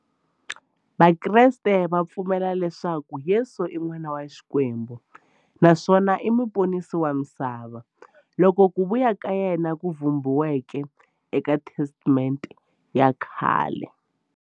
Vakreste va pfumela leswaku Yesu i n'wana wa Xikwembu naswona i muponisi wa misava, loyi ku vuya ka yena ku vhumbiweke eka Testamente ya khale.